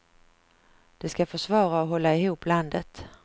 De ska försvara och hålla ihop landet.